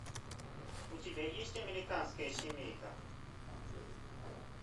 у тебя есть американская семейка